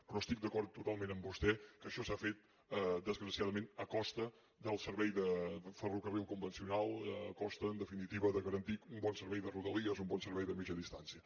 però estic d’acord totalment amb vostè que això s’ha fet desgra ciadament a costa del servei de ferrocarril convencional a costa en definitiva de garantir un bon servei de rodalies un bon servei de mitjana distància